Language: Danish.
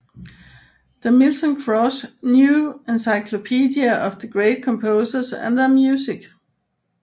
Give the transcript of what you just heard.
The Milton Cross New Encyclopedia of the Great Composers and Their Music